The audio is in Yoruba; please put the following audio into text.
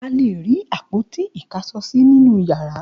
A le rí àpótí-ìkáṣọsí nínú ìyàrá.